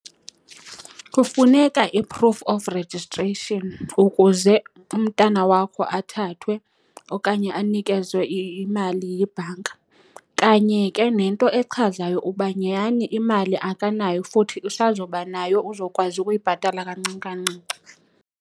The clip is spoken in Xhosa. Kufuneka i-proof of registration ukuze umntana wakho athathwe okanye anikezwe imali yibhanka. Kanye ke nento echazayo uba nyani imali akanayo futhi usazobanayo, uzokwazi ukuyibhatala kancinci kancinci.